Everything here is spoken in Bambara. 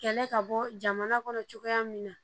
Kɛlɛ ka bɔ jamana kɔnɔ cogoya min na